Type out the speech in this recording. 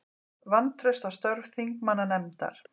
Vantraust á störf þingmannanefndar